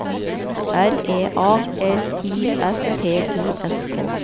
R E A L I S T I S K